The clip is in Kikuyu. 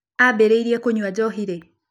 Aambĩrĩirie kũnyua njohi rĩ?